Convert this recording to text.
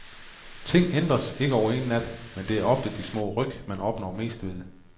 Ting ændres ikke over en nat, men det er ofte de små ryk, man opnår mest ved.